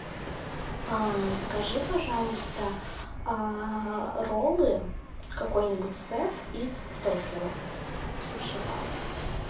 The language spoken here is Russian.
закажи пожалуйста роллы какой нибудь сет из токио суши бар